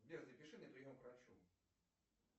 сбер запиши на прием к врачу